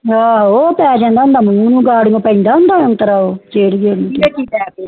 ਓਹ੍ਹ ਪੈ ਜਾਂਦਾ ਹੋਂਦ ਮੂੰਹ ਘੜੀਆਂ ਪੈਂਦਾ ਹੋਂਦ ਨਤ੍ਰਾ ਜੇਰਿਯੋ ਦੀ